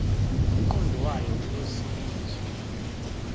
lomqondo wayo uyosizwa